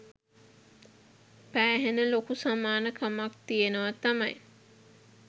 පෑහෙන ලොකු සමාන කමක් තියෙනවා තමයි.